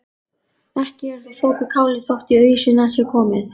Ekki er þó sopið kálið þótt í ausuna sé komið.